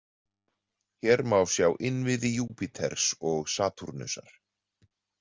Hér má sjá innviði Júpíters og Satúrnusar.